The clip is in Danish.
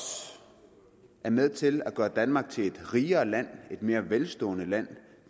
er med til at gøre danmark til et rigere land et mere velstående land